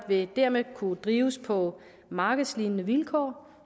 vil dermed kunne drives på markedslignende vilkår